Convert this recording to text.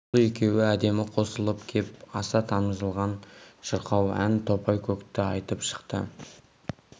бұл екеуі әдемі қосылып кеп аса тамылжыған шырқау ән топай-көкті айтып шықты